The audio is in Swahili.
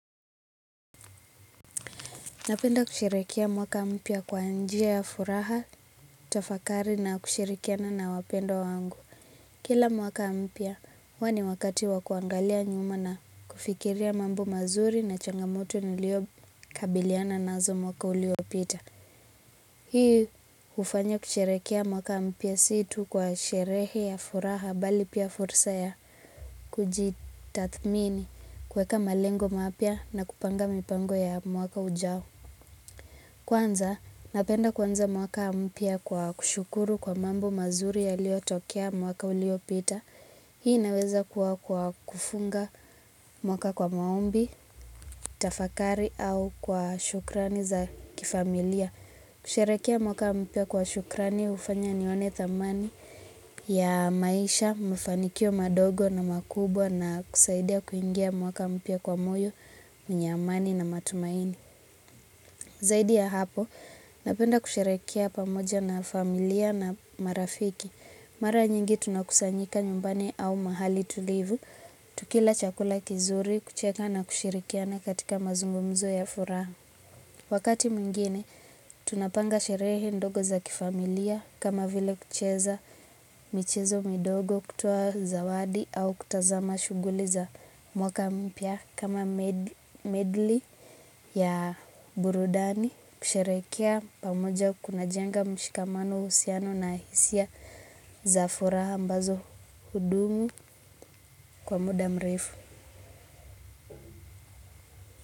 Napenda kusherehekea mwaka mpya kwa njia ya furaha, tafakari na kushirikiana na wapendwa wangu. Kila mwaka mpia, wani wakati wa kuangalia nyuma na kufikiria mambo mazuri na changamoto nilio kabiliana nazo mwaka uliopita. Hii ufanya kushirikia mwaka mpia situ kwa shirehi ya furaha bali pia fursa ya kujitathmini kuweka malengo mapia na kupanga mipango ya mwaka ujao. Kwanza, napenda kwanza mwaka mpia kwa kushukuru kwa mambo mazuri ya lio tokea mwaka u lio pita. Hii naweza kufunga mwaka kwa maombi, tafakari au kwa shukrani za kifamilia. Kusherekea mwaka mpia kwa shukrani ufanya nione thamani ya maisha, mfanikio madogo na makubwa na kusaidia kuingia mwaka mpia kwa moyo, minyamani na matumaini. Zaidi ya hapo, napenda kushirikia pamoja na familia na marafiki. Mara nyingi tunakusanyika nyumbani au mahali tulivu, tukila chakula kizuri, kucheka na kushirikiana katika mazumbu mzo ya furaha. Wakati mingine, tunapanga shirehe ndogo za kifamilia, kama vile kucheza michezo midogo kutua zawadi au kutazama shuguli za mwaka mpya, kama medli ya burudani kusherekea pamoja kukunajanga mshikamano usiano na hisia zafura ambazo hudumi kwa muda mrefu.